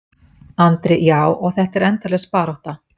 Andri: Já, og þetta er endalaus barátta?